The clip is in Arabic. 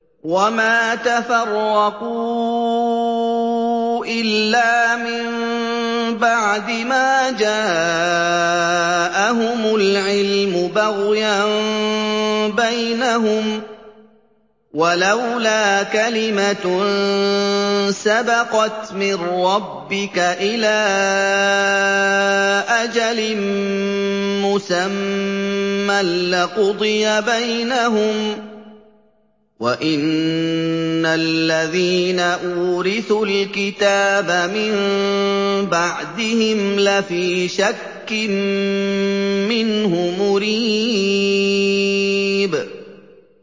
وَمَا تَفَرَّقُوا إِلَّا مِن بَعْدِ مَا جَاءَهُمُ الْعِلْمُ بَغْيًا بَيْنَهُمْ ۚ وَلَوْلَا كَلِمَةٌ سَبَقَتْ مِن رَّبِّكَ إِلَىٰ أَجَلٍ مُّسَمًّى لَّقُضِيَ بَيْنَهُمْ ۚ وَإِنَّ الَّذِينَ أُورِثُوا الْكِتَابَ مِن بَعْدِهِمْ لَفِي شَكٍّ مِّنْهُ مُرِيبٍ